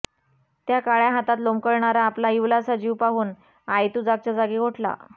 त्या काळ्या हातात लोंबकळणारा आपला इवलासा जीव पाहून आयतु जागच्या जागी गोठला